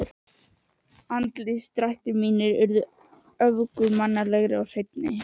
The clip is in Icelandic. Andlitsdrættir mínir urðu göfugmannlegri og hreinni.